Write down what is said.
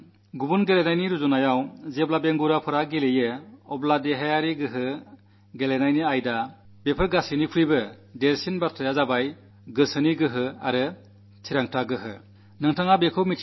മറ്റു കളികളെ അപേക്ഷിച്ച് ദിവ്യാംഗരുടെ കളികളിൽ ശാരീരികക്ഷമതയെക്കാളും കളിയിലെ നൈപുണ്യത്തെക്കാളും വലിയ കാര്യം ഇച്ഛാശക്തിയും നിശ്ചയദാർഢ്യവുമാണ്